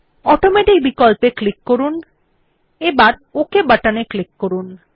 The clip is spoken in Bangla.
অটোমেটিক বিকল্পে ক্লিক করুন এবার ওক বাটনে ক্লিক করুন